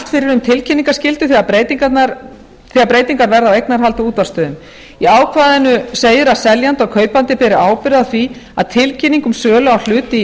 fyrir um tilkynningarskyldu þegar breytingar verða á eignarhaldi á útvarpsstöðvum í ákvæðinu segir að seljandi og kaupandi beri ábyrgð á því að tilkynning um sölu á hlut í